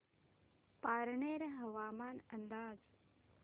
पारनेर हवामान अंदाज